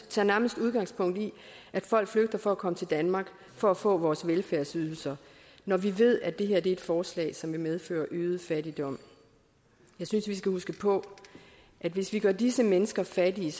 tager nærmest udgangspunkt i at folk flygter for at komme til danmark for at få vores velfærdsydelser men vi ved at det her er et forslag som vil medføre øget fattigdom jeg synes vi skal huske på at hvis vi gør disse mennesker fattige